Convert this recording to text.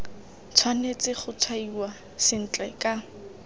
tshwanetse go tshwaiwa sentle ka